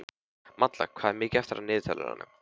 Malla, hvað er mikið eftir af niðurteljaranum?